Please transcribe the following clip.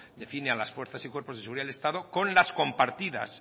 define a las fuerzas y cuerpos de la seguridad del estado con las compartidas